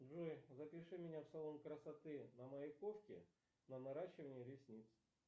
джой запиши меня в салон красоты на маяковке на наращивание ресниц